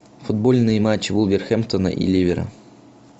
футбольный матч вулверхэмптона и ливера